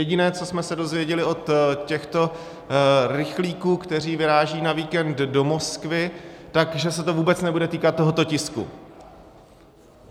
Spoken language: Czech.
Jediné, co jsme se dozvěděli od těchto rychlíků, kteří vyrážejí na víkend do Moskvy, tak že se to vůbec nebude týkat tohoto tisku.